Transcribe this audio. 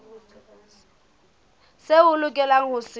seo o lokelang ho se